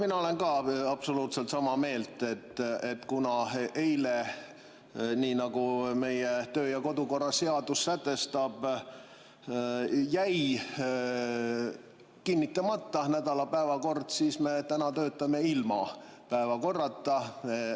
Mina olen ka absoluutselt sama meelt, et kuna eile jäi kinnitamata nädala päevakord, kuigi meie töö‑ ja kodukorra seadus seda sätestab, siis me täna töötame ilma päevakorrata.